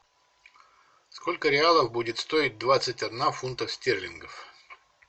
сколько реалов будет стоить двадцать одна фунтов стерлингов